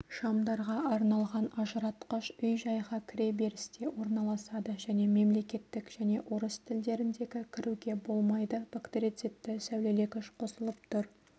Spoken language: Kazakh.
шамдарға арналған ажыратқыш үй-жайға кіреберісте орналасады және мемлекеттік және орыс тілдеріндегі кіруге болмайды бактерицидті сәулелегіш қосылып тұр